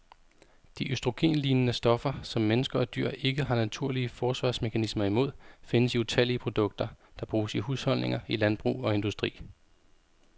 De østrogenlignende stoffer, som mennesker og dyr ikke har naturlige forsvarsmekanismer imod, findes i utallige produkter, der bruges i husholdninger, i landbrug og industri.